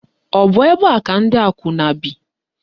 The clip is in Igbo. Ọ bụ ebe a ka ndị akwụna bi?